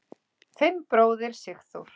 Þinn bróðir, Sigþór.